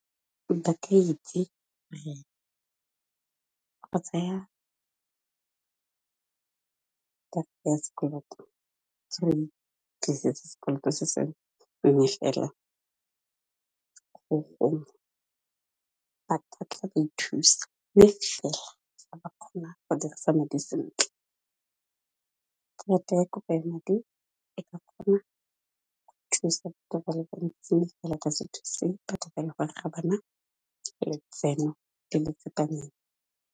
Motho a ka itse gore, go tsaya karata sekoloto tlisetsa sekoloto se seng mme fela, go gongwe ba ka tla ithusa mme fela ga ba kgona go dirisa madi sentle. Karata ya kopo ya madi e ka kgona go thusa batho ba le bantsi, mme fela e ka se thuse batho ba le gore ga bana letseno le le tsepameng.